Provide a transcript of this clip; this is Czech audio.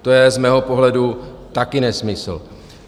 To je z mého pohledu také nesmysl.